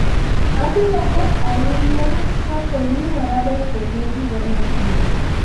Abiro buok ahinya kapoo ni warado kode higa mabiro